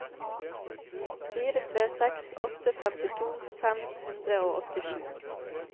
fire tre seks åtte femtito fem hundre og åttisju